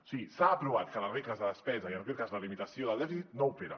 o sigui s’ha aprovat que la regla de despesa i en aquest cas la limitació del dèficit no opera